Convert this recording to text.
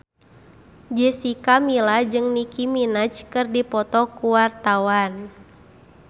Jessica Milla jeung Nicky Minaj keur dipoto ku wartawan